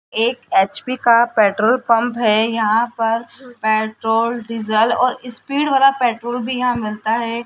एक एच_पी का petrol pump है यहां पर पेट्रोल डीजल और स्पीड वाला पेट्रोल भी यहां मिलता है।